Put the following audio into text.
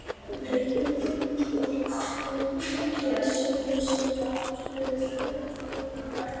Hann lét blóðnasirnar og meiðslin á lærinu ekki trufla sig í fagnaðarlátum Eyjamanna eftir leik.